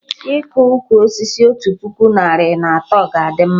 Iko ụkwụ osisi otu puku narị na atọ ga-adị mma